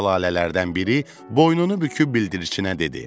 Balaca lalələrdən biri boynunu büküb bildirçinə dedi.